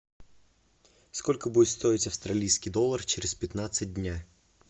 сколько будет стоить австралийский доллар через пятнадцать дня